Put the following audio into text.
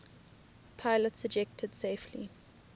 pilots ejected safely